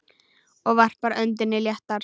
Og varpar öndinni léttar.